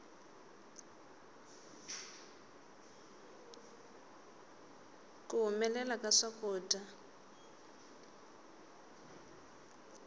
ku humelela ka swakudya